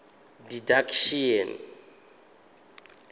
didactician